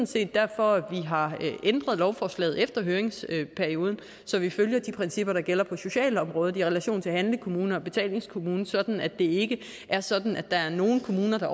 set derfor vi har ændret lovforslaget efter høringsperioden så vi følger de principper der gælder på socialområdet i relation til handlekommune og betalingskommune sådan at det ikke er sådan at der er nogle kommuner der